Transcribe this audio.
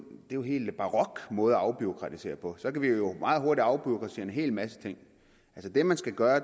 en helt barok måde at afbureaukratisere på så kan vi jo meget hurtigt afbureaukratisere en hel masse ting altså det man skal gøre er